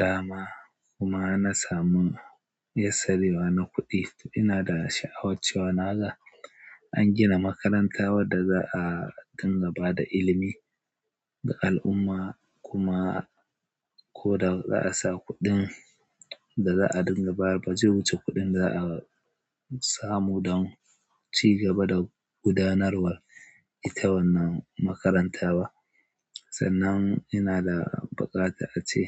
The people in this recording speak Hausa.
Dama kuma na samu yassarewa na kuɗi, ina da sha'awar cewa naga an gina makaranta wadda za a dinga ba da ilimi ga al'umma kuma ko da za a sa kuɗin da za a dinga bayarwa, ba zai wuce kuɗin za a samu don ci gaba da gudanarwar ita wannan makarantar ba. Sannan ina da buƙatar ace